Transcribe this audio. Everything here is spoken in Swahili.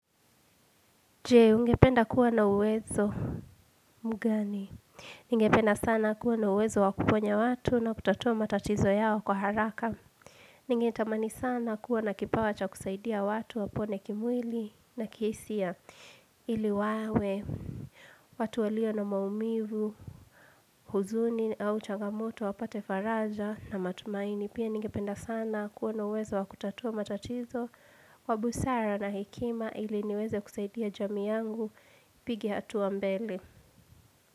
Jee, ungependa kuwa na uwezo mugani. Ningependa sana kuwa na uwezo wakuponya watu na kutatua matatizo yao kwa haraka. Ningetamani sana kuwa na kipawa cha kusaidia watu wapone kimwili na kihisia iliwawe. Watu walio na maumivu, huzuni au changamoto wapate faraja na matumaini. Pia ningependa sana kuwa na uwezo wakutatua matatizo wa busara na hekima ili niweze kusaidia jamii yangu. Pige hatua mbele.